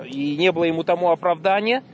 и не было ему тому оправдания